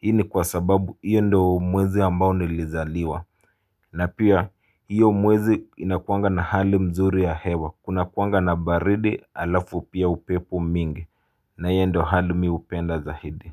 Hii ni kwa sababu hiyo ndio mwezi ambao nilizaliwa. Na pia hiyo mwezi inakuaga na hali nzuri ya hewa kuna kuaga na baridi alafu pia upepo mingi na hiyo ndio hali mimi hupenda zaidi.